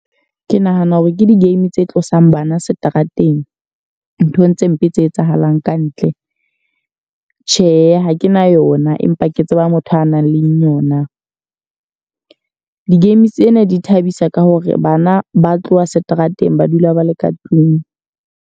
Ke nahana hore ke di-game tse tlosang bana seterateng. Nthong tse mpe tse etsahalang kantle. Tjhe, ha ke na yona empa ke tseba motho a nang leng yona. Di-game tsena di thabisa ka hore bana ba tloha seterateng ba dula ba le ka tlung.